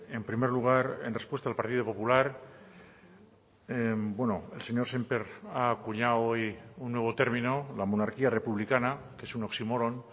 en primer lugar en respuesta al partido popular el señor sémper ha acuñado hoy un nuevo término la monarquía republicana que es un oxímoron